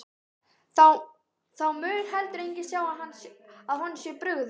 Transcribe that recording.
Þá mun heldur enginn sjá að honum sé brugðið.